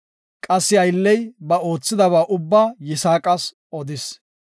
Qassi aylley ba oothidaba ubba Yisaaqas odis.